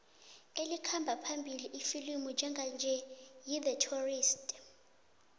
elikhamba phambili ifilimu njenganje yi the tourist